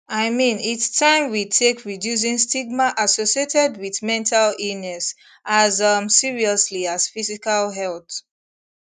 i mean its taim we take reducing stigma associated wit mental illness as um seriously as physical health